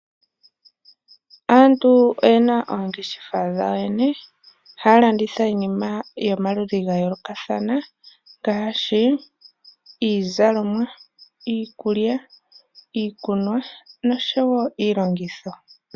Aantu oyena oongeshefa dhawo yoyene. Oha landitha iinima yomaludhi gayolokathana. Ngaashi iizalomwa, iikulya, iikunwa noshowo iilongitho.